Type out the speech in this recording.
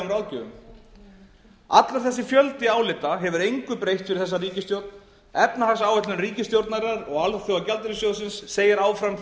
ráðgjöfum allur þessi fjöldi álita hefur engu breytt fyrir þessa ríkisstjórn efnahagsáætlun ríkisstjórnarinnar og alþjóðagjaldeyrissjóðsins segir áfram